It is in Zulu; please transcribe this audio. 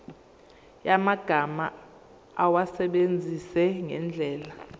yamagama awasebenzise ngendlela